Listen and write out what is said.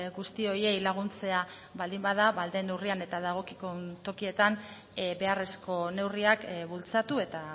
guzti horiei laguntzea baldin bada ahal den neurrian eta dagokion tokietan beharrezko neurriak bultzatu eta